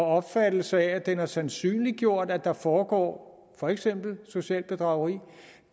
opfattelse af at det er sandsynliggjort at der foregår for eksempel socialt bedrageri